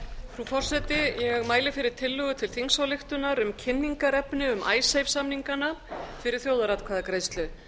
forseti ég mæli fyrir tillögu til þingsályktunar um kynningarefni um icesave samningana fyrir þjóðaratkvæðagreiðslu